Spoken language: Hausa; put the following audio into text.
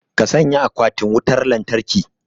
ka sanya akwatin wutar lantarki